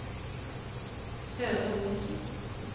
Søre Osen